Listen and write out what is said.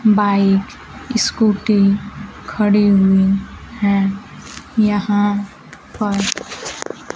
Bike scooty खड़े हुए हैं यहां पर।